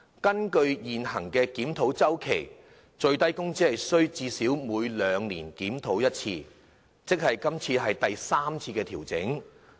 根據現行檢討周期，最低工資須最少每兩年檢討一次，即今次是第三次調整。